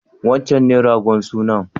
Wancen ne ragon sunan?